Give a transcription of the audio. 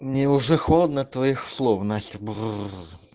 мне уже холодно от твоих слов нахер бр